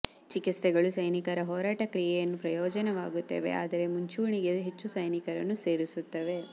ಈ ಚಿಕಿತ್ಸೆಗಳು ಸೈನಿಕರ ಹೋರಾಟದ ಕ್ರಿಯೆಯನ್ನು ಪ್ರಯೋಜನವಾಗುತ್ತವೆ ಆದರೆ ಮುಂಚೂಣಿಗೆ ಹೆಚ್ಚು ಸೈನಿಕರನ್ನು ಸೇರಿಸುತ್ತವೆ